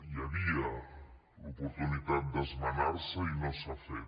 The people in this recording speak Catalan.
hi havia l’oportunitat d’esmenar se i no s’ha fet